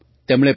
તેમણે પી